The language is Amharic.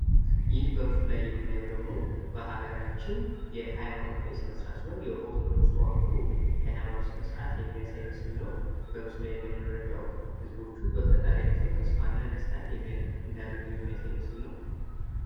ይህ በምስሉ ላይ የምናየው ደሞ በሃገራችን የሃይማኖታዊ ስነስርዓት ሲሆን ፤ የኦርቶዶክስ ተዋሕዶ ሀይማኖት ስነስርዓት የሚያሳይ ምስል ነው። ህዝቦቹ በፈጣሪያቸው ተስፋ እና ደስታን እንዳገኙ የሚያሳይ ምስል ነው።